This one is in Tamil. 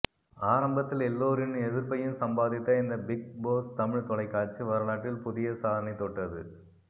ஆரம்பத்தில் எல்லோரின் எதிர்பையும் சம்பாதித்த இந்த பிக் போஸ் தமிழ் தொலைகாட்சி வரலாற்றில் புதிய சாதனையை தொட்டது